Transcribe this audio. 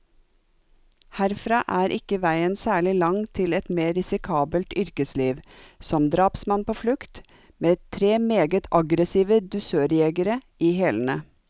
Herfra er ikke veien særlig lang til et mer risikabelt yrkesliv, som drapsmann på flukt, med tre meget aggressive dusørjegere i hælene.